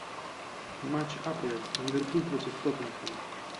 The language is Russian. матч апл ливерпуль против тоттенхэма